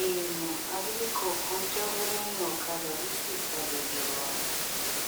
héèmọ abilékọ kan já bọ lẹyìn ọkadà ó sì gbabẹ dèrò ọrun